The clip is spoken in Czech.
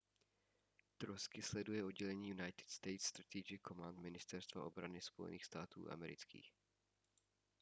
trosky sleduje oddělení united states strategic command ministerstva obrany spojených států amerických